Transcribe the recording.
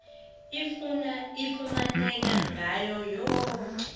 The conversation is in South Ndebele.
ifumaneka ngawo woke